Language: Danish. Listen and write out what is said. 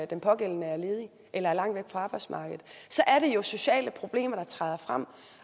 den pågældende er ledig eller er langt væk fra arbejdsmarkedet så er det jo sociale problemer der træder frem